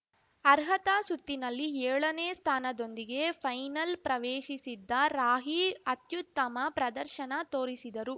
ಅರ್ಹತಾ ಸುತ್ತಿನಲ್ಲಿ ಏಳನೇ ಸ್ಥಾನದೊಂದಿಗೆ ಫೈನಲ್‌ ಪ್ರವೇಶಿಸಿದ್ದ ರಾಹಿ ಅತ್ಯುತ್ತಮ ಪ್ರದರ್ಶನ ತೋರಿಸಿದರು